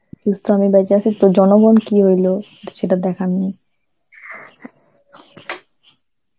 আমি বেঁচে আছি তো জনগণ কি হইলো সে তো দেখার নেই.